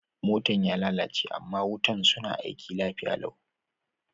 Motan ya lallace ama wutan suna aiki lafiya lau.